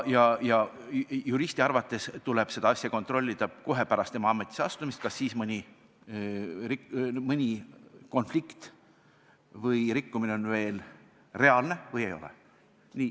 Juristi arvates tuleb kontrollida kohe pärast tema ametisse astumist, kas on mõni konflikt või rikkumine veel reaalne või ei ole.